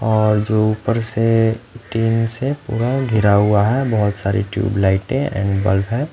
और जो ऊपर से टीन से वाल घिरा हुआ है बहोत सारी टूबलाइटे एंड बल्ब हैं।